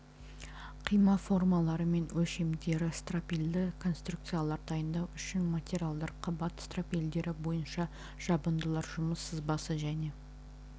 қима формалары мен өлшемдері стропильді конструкциялар дайындау үшін материалдар қабат стропилдері бойынша жабындылар жұмыс сызбасы және